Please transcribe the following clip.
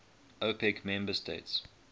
opec member states